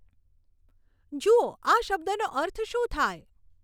જુઓ આ શબ્દનો અર્થ શું થાય